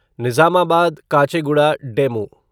Nizamabad Kacheguda DEMU